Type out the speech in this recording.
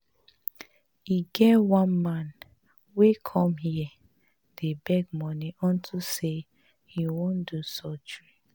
E get one man wey come here dey beg money unto say he wan do surgery